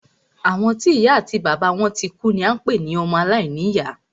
Àwọn tí ìya àti bàbá wọn tikú ni à ń pé ní ọmọ alàìní ìyá.